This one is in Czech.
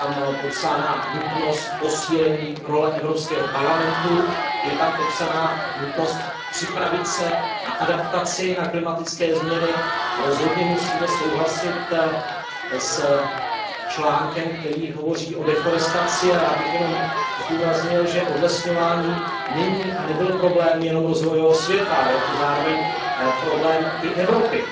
Je tam popsána nutnost posílení role Evropského parlamentu, je tam popsána nutnost připravit se na adaptaci na klimatické změny, rozhodně musíme souhlasit s článkem, který hovoří o deforestaci, a já bych jenom zdůraznil, že odlesňování není a nebyl problém jenom rozvojového světa, ale je to zároveň i problém Evropy,